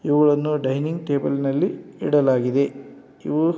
ಇವುಗಳನ್ನು ಡೈನಿಂಗ್ ಟೇಬಲ್ನಲ್ಲಿ ಇಡಲಾಗಿದೆ. ಇವು --